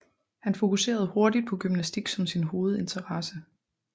Han fokuserede hurtigt på gymnastik som sin hovedinteresse